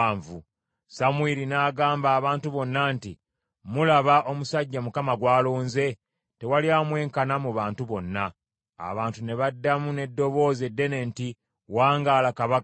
Samwiri n’agamba abantu bonna nti, “Mulaba omusajja Mukama gw’alonze? Tewali amwenkana mu bantu bonna.” Abantu ne baddamu n’eddoboozi eddene nti, “Wangaala Kabaka.”